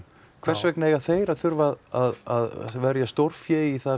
hvers vegna eiga þeir að þurfa að verja stórfé